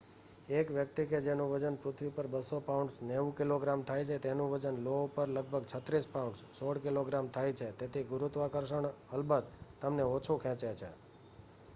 એક વ્યક્તિ કે જેનું વજન પૃથ્વી ઉપર 200 પાઉન્ડસ 90 કિગ્રા થાય છે તેનું વજન લો ઉપર લગભગ 36 પાઉન્ડસ 16 કિગ્રા થાય છે. તેથી ગુરુત્વાકર્ષણ અલબત તમને ઓછું ખેંચે છે